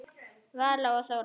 Vala og Þóra.